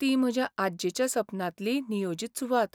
ती म्हज्या आज्जेच्या सपनांतली नियोजित सुवात .